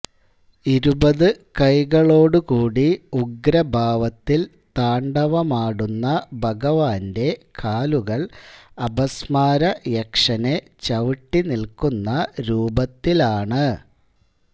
ഇരുപതുകൈകളോടുകൂടി ഉഗ്രഭാവത്തിൽ താണ്ഡവമാടുന്ന ഭഗവാന്റെ കാലുകൾ അപസ്മാരയക്ഷനെ ചവിട്ടിനിൽക്കുന്ന രൂപത്തിലാണ്